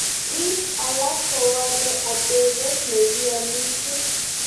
Biik alak kowalee atebet nekiamishie